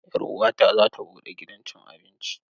Yar uwata za ta buɗe gidan cin abinci.